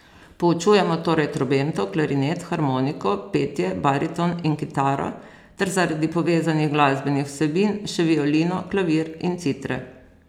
Poučujemo torej trobento, klarinet, harmoniko, petje, bariton in kitaro ter, zaradi povezanih glasbenih vsebin, še violino, klavir in citre.